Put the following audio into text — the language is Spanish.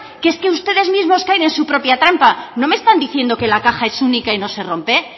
que es que ustedes mismo caen en su propia trampa no me están diciendo que la caja es única y no se rompe